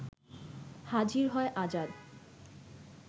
হাজির হয় আজাদ